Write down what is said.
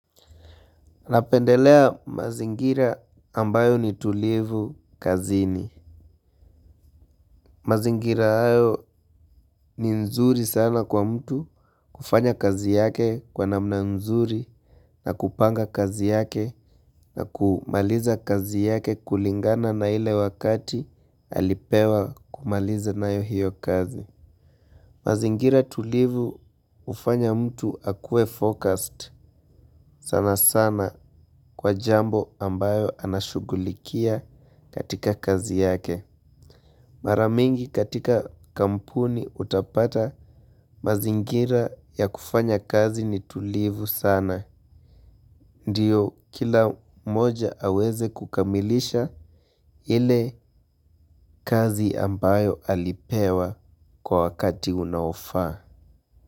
Napendelea mazingira ambayo ni tulivu kazini. Mazingira ayo ni nzuri sana kwa mtu kufanya kazi yake kwa namna nzuri na kupanga kazi yake na kumaliza kazi yake kulingana na hile wakati alipewa kumaliza nayo hiyo kazi. Mazingira tulivu ufanya mtu akue focused sana sana kwa jambo ambayo anashugulikia katika kazi yake. Mara mingi katika kampuni utapata mazingira ya kufanya kazi ni tulivu sana. Ndiyo kila moja aweze kukamilisha ile kazi ambayo alipewa kwa wakati unaofaa.